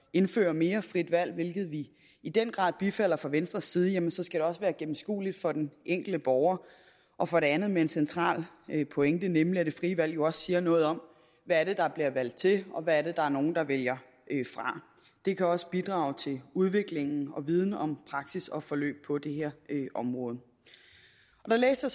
indføre mere frit valg hvilket vi i den grad bifalder fra venstres side så skal det også være gennemskueligt for den enkelte borger og for det andet med en central pointe nemlig at det frie valg jo også siger noget om hvad det er der bliver valgt til og hvad det er der er nogle der vælger fra det kan også bidrage til udvikling og viden om praksis og forløb på det her område der læste